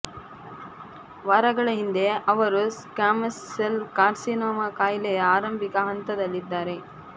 ವಾರಗಳ ಹಿಂದೆ ಅವರು ಸ್ಕ್ವಾಮಸ್ ಸೆಲ್ ಕಾರ್ಸಿನೋಮ ಕಾಯಿಲೆಯ ಆರಂಭಿಕ ಹಂತದಲ್ಲಿ ಇದ್ದಾರೆ